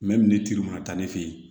ne turu mana taa ne fe ye